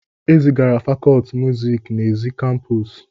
E zigara fakọlti muziiki n'èzí kampuusu.